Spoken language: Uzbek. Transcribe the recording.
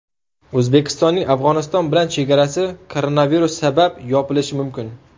O‘zbekistonning Afg‘oniston bilan chegarasi koronavirus sabab yopilishi mumkin .